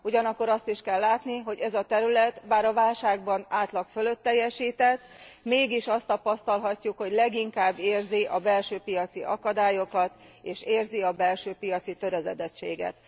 Ugyanakkor azt is kell látni, hogy ez a terület, bár a válságban átlag fölött teljesített, mégis azt tapasztalhatjuk, hogy leginkább érzi a belső piaci akadályokat és érzi a belső piaci töredezettséget.